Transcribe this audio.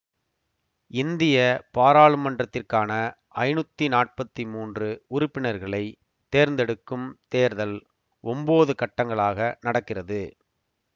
இந்திய பாராளுமன்றத்திற்கான ஐநூத்தி நாப்பத்தி மூன்று உறுப்பினர்களைத் தேர்ந்தெடுக்கும் தேர்தல் ஒன்போது கட்டங்களாக நடக்கிறது